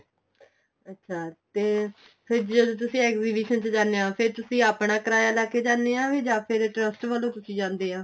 ਅੱਛਾ ਤੇ ਫ਼ੇਰ ਜਦੋਂ ਤੁਸੀਂ exhibition ਚ ਜਾਣੇ ਹੋ ਫ਼ੇਰ ਤੁਸੀਂ ਆਪਾਂ ਕਿਰਾਇਆ ਲੈਕੇ ਜਾਣੇ ਆ ਜਾ ਫ਼ਿਰ trust ਵੱਲੋ ਤੁਸੀਂ ਜਾਂਦੇ ਆ